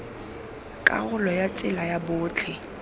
karolo ya tsela ya botlhe